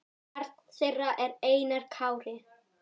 Barn þeirra er Einar Kári.